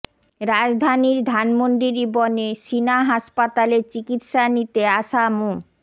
রাজধানীর ধানমন্ডির ইবনে সিনা হাসপাতালে চিকিৎসা নিতে আসা মো